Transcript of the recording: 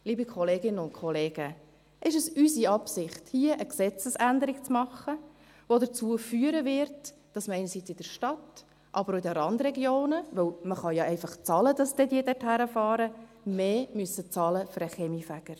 Liebe Kolleginnen und Kollegen: Ist es unsere Absicht, hier eine Gesetzesänderung zu machen, die dazu führen wird, dass man einerseits in der Stadt, aber andererseits auch in den Randregionen – denn man kann ja einfach bezahlen, damit sie dorthin fahren – für den Kaminfeger mehr bezahlen muss?